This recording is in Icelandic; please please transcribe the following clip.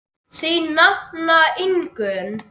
Þín nafna Ingunn.